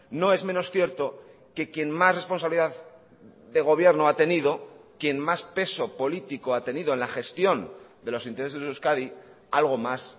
no es menos cierto que quien más responsabilidad de gobierno ha tenido quien más peso político ha tenido en la gestión de los intereses de euskadi algo más